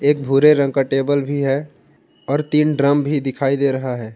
एक भूरे रंग का टेबल भी है और तीन ड्रम भी दिखाई दे रहा है ।